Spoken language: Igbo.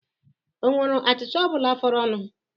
Ọ nwere achịcha ọ bụla fọdụrụ?